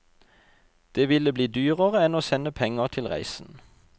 Det ville bli dyrere enn å sende penger til reisen.